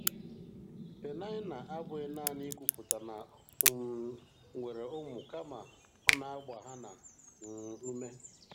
Peninnah abụghị nanị ikwupụta na ọ um nwere ụmụ, kama ọ na-agba Hana um ume.